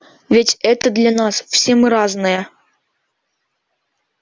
ведь это для нас все мы разные